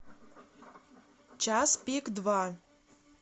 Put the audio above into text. час пик два